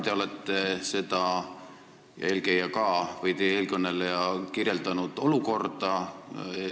Teie ja teie eelkõneleja kirjeldasite olukorda.